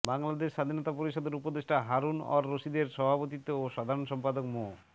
বাংলাদেশ স্বাধীনতা পরিষদের উপদেষ্টা হারুন অর রশীদের সভাপতিত্বে ও সাধারণ সম্পাদক মো